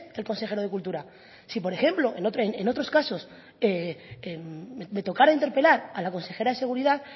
el consejero de cultura si por ejemplo en otros casos me tocara interpelar a la consejera de seguridad